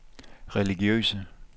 religiøse